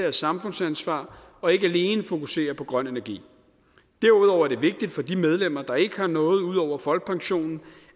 af samfundsansvar og ikke alene fokusere på grøn energi derudover er det vigtigt for de medlemmer der ikke har noget ud over folkepensionen